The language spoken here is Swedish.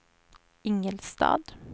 Ingelstad